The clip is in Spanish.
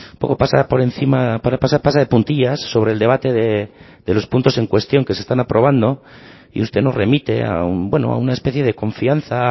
pasa de puntillas sobre el debate de los puntos en cuestión que se están aprobando y usted nos remite a una especie de confianza